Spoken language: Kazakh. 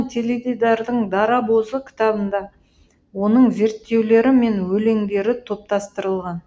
теледидардың дарабозы кітабында оның зерттеулері мен өлеңдері топтастырылған